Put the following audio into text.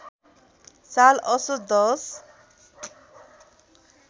साल असोज १०